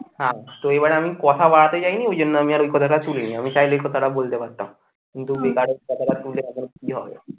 হ্যাঁ তো এবারে আমি কথা বাড়াতে যাইনি ওই জন্য আমি আর ওই কথাটা শুনিনি আমি চাইলে এই কথাটা বলতে পারতাম কিন্তু বেকারের কথাটা শুনলে এখন কি হবে।